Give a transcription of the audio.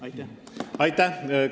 Aitäh teile!